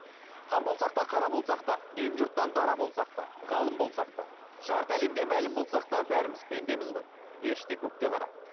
хан болсақ та қара болсақ та дүйім жұрттан дара болсақ та ғалым болсақ та жарты әлемге мәлім болсақ та бәріміз пендеміз ғой періште көкте ғана